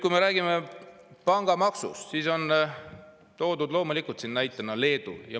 Kui räägitakse pangamaksust, siis on siin loomulikult toodud näitena Leedut.